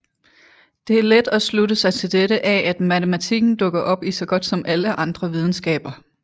Det er let at slutte sig til dette af at matematikken dukker op i så godt som alle andre videnskaber